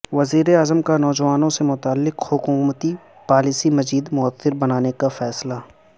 وزیراعظم کا نوجوانوں سے متعلق حکومتی پالیسی مزید موثر بنانے کا فیصلہ